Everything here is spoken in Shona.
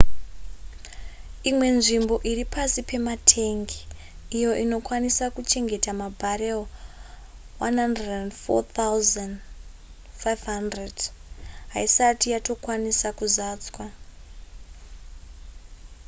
imwe nzvimbo iri pasi pematengi iyo inokwanisa kuchengeta mabarrel 104 500 haisati yatokwanisa kuzadzwa